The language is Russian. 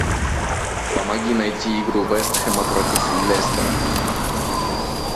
помоги найти игру вест хэма против лестера